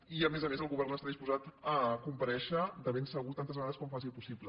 i a més a més el govern està disposat a comparèixer de ben segur tantes vegades com faci possible